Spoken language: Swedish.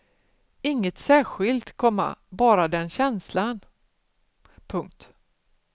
Inget särskilt, komma bara den känslan. punkt